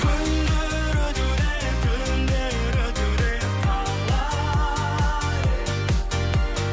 күндер өтуде түндер өтуде талай